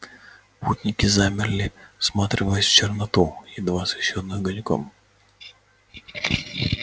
путники замерли всматриваясь в черноту едва освещённую огоньком